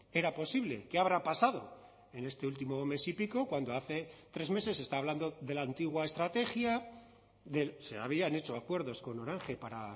era posible qué habrá pasado en este último mes y pico cuando hace tres meses se está hablando de la antigua estrategia del se habían hecho acuerdos con orange para